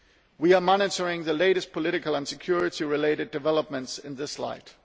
We are monitoring the latest political and security related developments in this light.